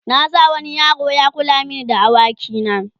na sa wani yaro Ya kula mani da da awaki na